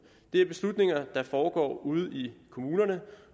det er beslutninger der foregår ude i kommunerne